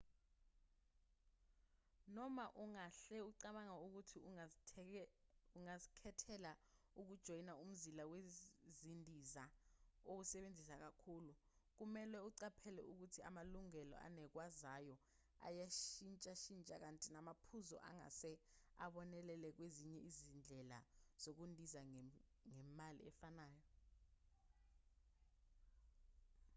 noma ungahle ucabange ukuthi ungazikhethela ukujoyina umzila wezindiza owusebenzisa kakhulu kumelwe uqaphele ukuthi amalungelo anikezwayo ayashintshashintsha kanti namaphuzu angase abonelele kwezinye izindlela zokundiza ngemali efanayo